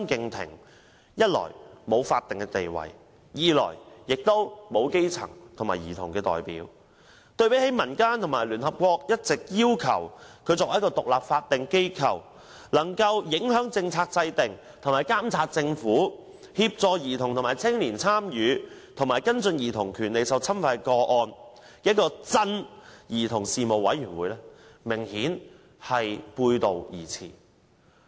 兒童事務委員會一來沒有法定地位，二來又沒有基層和兒童代表，對比民間和聯合國要求委員會須為獨立法定機構、能夠影響政策制訂和監察政府、協助兒童和青年參與、跟進兒童權利受侵犯的個案，明顯背道而馳。